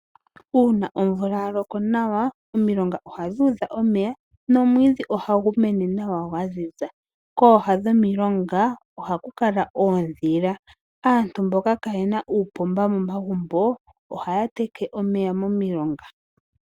Uuna omvula yaloko nawa omilonga ohadhi udha omeya nomwiidhi ohagu mene nawa gwaziza. Kooha dhomilonga ohaku kala oodhila. Aantu mboka kayena uupomba momagumbo ohaya teke omeya momilonga.